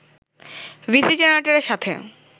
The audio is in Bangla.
ডিসি জেনারেটরের সাথে